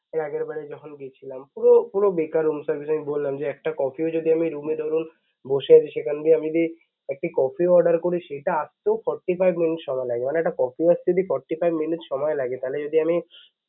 এর আগের বারই যখন গেছিলাম, পুরো পুরো বেকার room service বললাম যে একটা কফিও যদি আমি রুমে যখন বসে সেখান দিয়ে আমি যদি একটি কফিও order করি সেটা আসতেও Forty five minutes সময় লাগে. মানে একটা কফি আসতে যে Forty five minutes সময় লাগে তাহলে যদি আমি